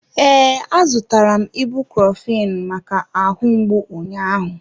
Ee, a zụtara m ibuprophen maka ahụ mgbu ụnyahụ.